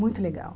Muito legal.